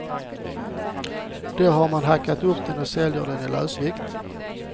Där har man hackat upp den och säljer den i lösvikt.